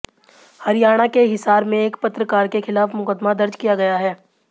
हरियाणा के हिसार में एक पत्रकार के खिलाफ मुकदमा दर्ज किया गया है